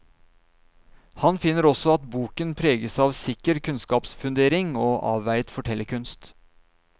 Han finner også at boken preges av sikker kunnskapsfundering og avveiet fortellerkunst.